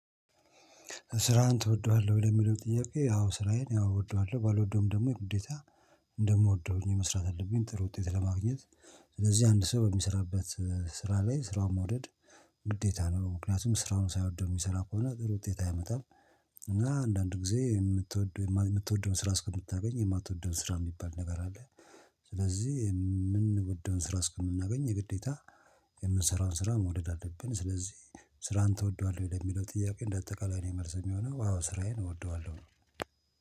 ስራህን ትወደዋለህ ወይ ለሚለው ጥያቄ አዎ ስራዬን አዎ እወደዋለሁ ባልወደውም ደግሞ ግዴታ እንደምወደው ሆኜ መስራት አለብኝ ጥሩ ውጤት ለማግኘት። ስለዚህ አንድ ሰው በሚስራበት ስራ ላይ ስራውን መውደድ ግዴታ ነው። ምክንያቱም ስራውን ሳይወደው የሚሰራ ከሆነ ጥሩ ውጤት አይመጣም። እና አንዳንድ ጊዜ የምትወደው የምትወደውን ስራ እስከምታገኝ የማትወደውን ስራ የሚባል ነገር አለ። ስለዚህ የምንወደውን ስራ እስከምናገኝ የግዴታ የምንሰራውን ስራ መውደድ አለብን። ስለዚህ ስራን ትወደዋለህ ወይ ለሚለው ጥያቄ? እንደ አጠቃላይ ነው መልስ የሚሆነው አዎ ስራዬን እወደዋለሁ